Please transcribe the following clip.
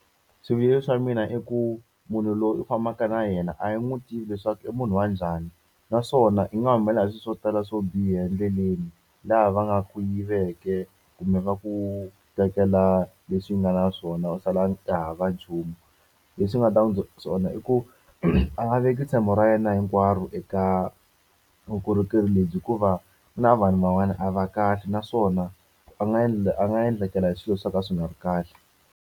Swivilelo swa mina i ku munhu loyi u fambaka na yena a wu n'wi tivi leswaku i munhu wa njhani, naswona i nga humelela hi swilo swo tala swo biha endleleni. Laha va nga ku yivaka kumbe va ku tekela leswi u nga na swona u sala u hava nchumu. Leswi ni nga ta n'wi byela swona i ku a nga veki ntshembo ra yena hinkwaro eka vukorhokeri lebyi hikuva ku na vanhu van'wana a va kahle, naswona a nga a nga endlekela hi swilo swo ka swi nga ri kahle.